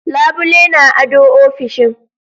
labule na ado ofishin.